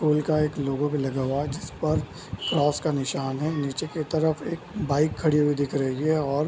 school का एक logo भी लगा हुआ जिस पर क्रॉस का निशान है नीचे की तरफ एक बाइक खड़ी हुई दिख रही है और --